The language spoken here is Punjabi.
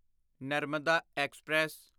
ਨਰਮਦਾ ਐਕਸਪ੍ਰੈਸ